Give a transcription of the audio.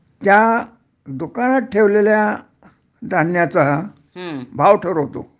त्या दुकानात ठेवलेल्या धान्याचा भाव ठरवतो